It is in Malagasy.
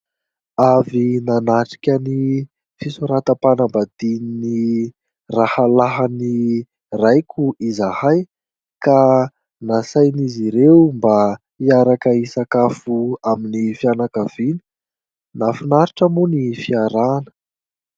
Avy nanatrika ny fisoratam-panambadian'ny rahalahin'ny raiko izahay; ka nasain'izy ireo mba hiaraka hisakafo amin'ny fianakaviny. Nahafinaritra moa ny fiarahana !